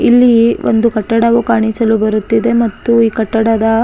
ಇಲ್ಲಿ ಒಂದು ಕಟ್ಟಡವು ಕಾಣಿಸಲು ಬರುತ್ತಿದೆ ಮತ್ತು ಈ ಕಟ್ಟಡದ --